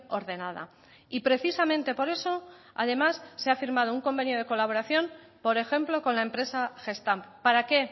ordenada y precisamente por eso además se ha firmado un convenio de colaboración por ejemplo con la empresa gestamp para qué